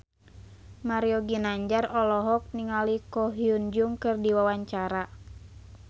Mario Ginanjar olohok ningali Ko Hyun Jung keur diwawancara